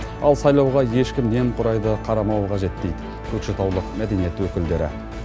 ал сайлауға ешкім немқұрайлы қарамауы қажет дейді көкшетаулық мәдениет өкілдері